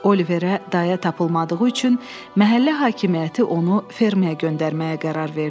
Oliverə dayə tapılmadığı üçün məhəllə hakimiyyəti onu ferməyə göndərməyə qərar verdi.